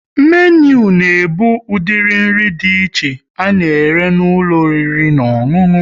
Menu na ebu udiri nri dị iche a na-ere n'ụlọ oriri na ọṅụṅụ